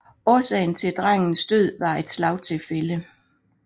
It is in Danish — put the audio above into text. Årsagen til drengens død var et slagtilfælde